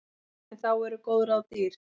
En þá eru góð ráð dýr.